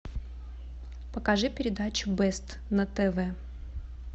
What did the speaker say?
покажи передачу бест на тв